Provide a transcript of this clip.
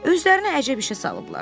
Özlərini əcəb işə salıblar.